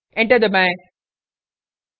enter दबाएं